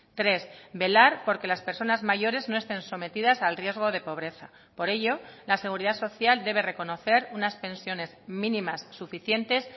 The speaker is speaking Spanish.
tres velar por que las personas mayores no estén sometidas al riesgo de pobreza por ello la seguridad social debe reconocer unas pensiones mínimas suficientes